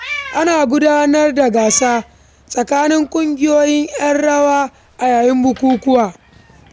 Ana gudanar da gasa tsakanin ƙungiyoyin ƴan rawa a yayin bukukkuwa.